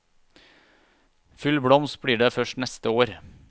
Full blomst blir det først neste år.